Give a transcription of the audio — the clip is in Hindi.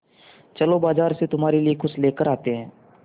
चलो बाज़ार से तुम्हारे लिए कुछ लेकर आते हैं